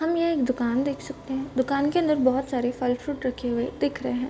हम ये एक दुकान देख सकते हैं। दुकान के अंदर बहोत सारे फल फ्रूट् रखे हुए दिख रहे हैं।